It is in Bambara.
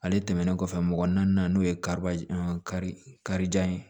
Ale tɛmɛnen kɔfɛ mɔgɔ naani n'o ye kari karijan ye